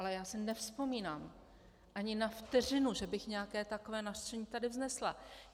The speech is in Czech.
Ale já si nevzpomínám ani na vteřinu, že bych nějaké takové nařčení tady vznesla.